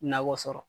Nakɔ sɔrɔ